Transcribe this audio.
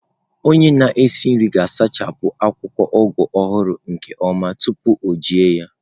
Onye na-esi nri ga-asachapụ akwụkwọ Ugu ọhụrụ nke ọma tupu eji ya.